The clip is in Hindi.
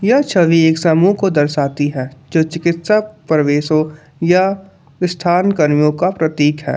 यह छवि एक समूह को दर्शाती है जो चिकित्सा प्रवेशों या स्थान कर्मियों का प्रतीक है।